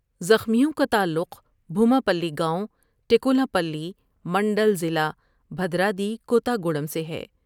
زخمیوں کا تعلق بھوما پلی گاؤں ، ٹیکولا پلی منڈل ضلع بھر راوی کو تہ گوڑم سے ہے ۔